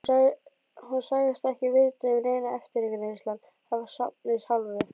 Hún sagðist ekki vita um neina eftirgrennslan af safnsins hálfu.